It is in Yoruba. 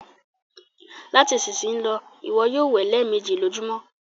Lati isisiyi lọ, iwọ yoo wẹ lẹẹmeji lojumọ!